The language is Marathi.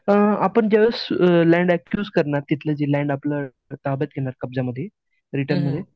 अ आपण ज्यावेळेस लँड अक्यूज करण्यात तिथलं जे लँड आपलं ताब्यात घेणार कब्ज्यामध्ये रिटर्नमध्ये